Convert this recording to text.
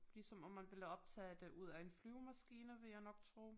Ligesom om man ville optage det ud af en flyvemaskine vil jeg nok tro